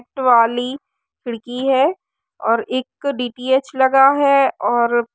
Net वाली खिड़की है और एक डी.टी.एच. लगा है और --